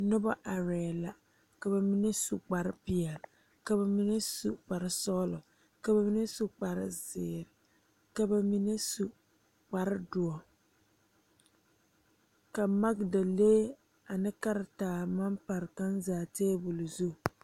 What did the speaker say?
Nobɔ arɛɛ la ka ba mine su kpare peɛle ka ba mine su kpare sɔglɔ ka ba mine su kparezeere ka ba mine su kparedoɔ ka magdalee ane karitaa maŋ pare kaŋ zaa tabol zu.